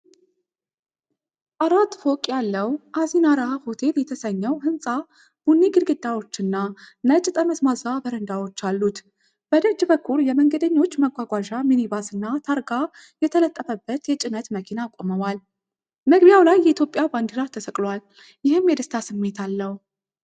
አራት ፎቅ ያለው አሲናራ ሆቴል የተሰኘው ሕንፃ ቡኒ ግድግዳዎችና ነጭ ጠመዝማዛ በረንዳዎች አሉት። በደጅ በኩል የመንገደኞች መጓጓዣ ሚኒባስና ታርጋ ያልተለጠፈበት የጭነት መኪና ቆመዋል። መግቢያው ላይ የኢትዮጵያ ባንዲራ ተሰቅሎአል፤ ይህም የደስታ ስሜት አለው።